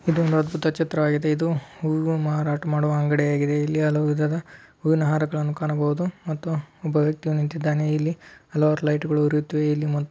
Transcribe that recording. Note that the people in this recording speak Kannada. ಇದು ನಷ್ಟದ ಚಿತ್ರ ಆಗಿದೆ. ಇದು ಹೂವು ಮಾರಾಟ ಮಾಡುವ ಅಂಗಡಿ ಯಾಗಿದೆ. ಇಲ್ಲಿ ಹಲವು ವಿಧದ ಹೂವಿನ ಹಾರಗಳನ್ನು ಕಾಣಬಹುದು ಮತ್ತು ಒಬ್ಬ ವ್ಯಕ್ತಿ ನಿಂತಿದ್ದಾನೆ. ಇಲ್ಲಿ ಹಲವಾರು ಲೈಟ್ ಗಳು ಉರಿಯುತ್ತೇವೆ ಇಲ್ಲಿ ಮ --